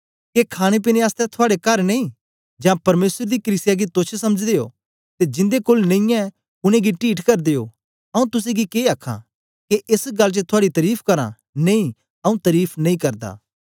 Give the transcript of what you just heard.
के खाणेपीने आसतै थुआड़े कर नेई जां परमेसर दी कलीसिया गी तोच्छ समझदे ओ ते जिंदे कोल नेई ऐ उनेंगी टीठ करदे ओ आऊँ तुसेंगी के आखां के एस गल्ल च थुआड़ी तरीफ करां नेई आऊँ तरीफ नेई करदा